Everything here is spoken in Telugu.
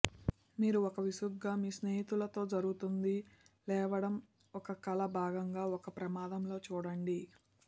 మీరు ఒక విసుగుగా మీ స్నేహితులతో జరుగుతుంది లేవడం ఒక కల భాగంగా ఒక ప్రమాదంలో చూడండి